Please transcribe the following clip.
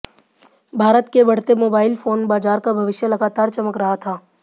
भारत के बढ़ते mobile phone बाजार का भविष्य लगातार चमक रहा था